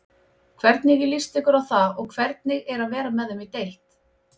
Hvernig líst ykkur á það og hvernig er að vera með þeim í deild?